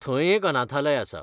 थंय एक अनाथालय आसा.